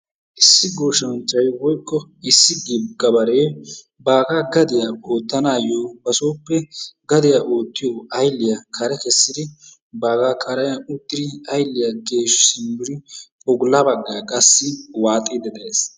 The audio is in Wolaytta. Issi gooshanchay woykko issi gabaree bagaa gadiya ottanaayo basooppe gadiya oottiyo aylliya kare keessidi baagaa karen uttidi aylliyaa geeshshi siimmidi bolla baggaa qassi waaxxidi de'ees.